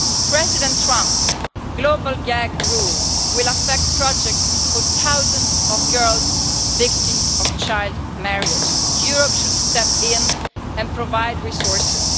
President Trump's global gag rules will affect projects for thousands and of girls who are victims of child marriage. Europe should step in and provide resources.